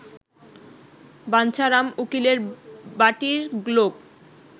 বাঞ্ছারাম উকিলের বাটীর লোক